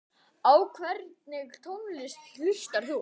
Á hvernig tónlist hlustar þú?